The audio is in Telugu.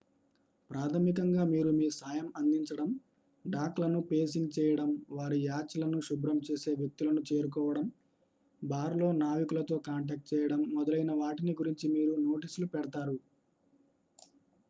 ప్రాథమికంగా మీరు మీ సాయం అందించడం డాక్ లను పేసింగ్ చేయడం వారి యాచ్ లను శుభ్రం చేసే వ్యక్తులను చేరుకోవడం బార్ లో నావికులతో కాంటాక్ట్ చేయడం మొదలైన వాటిని గురించి మీరు నోటీస్లు పెడ్తారు